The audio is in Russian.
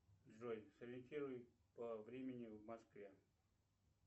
джой сориентируй по времени в москве